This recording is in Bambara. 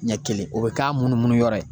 Ɲɛ kelen, o be k'a munumunu yɔrɔ ye.